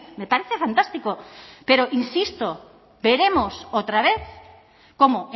me parece fantástico pero insisto veremos otra vez cómo